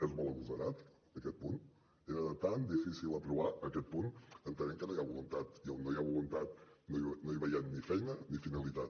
és molt agosarat aquest punt era tan difícil aprovar aquest punt entenem que no hi ha voluntat i on no hi ha voluntat no veiem ni feina ni finalitat